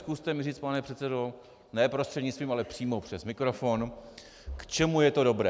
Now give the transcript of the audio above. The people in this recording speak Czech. Zkuste mi říct, pane předsedo, ne prostřednictvím, ale přímo přes mikrofon, k čemu je to dobré.